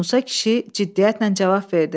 Musa kişi ciddiyyətlə cavab verdi.